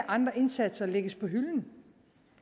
andre indsatser lægges på hylden